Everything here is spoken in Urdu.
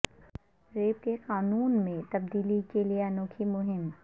ریپ کے قانون میں تبدیلی کے لیے انوکھی مہم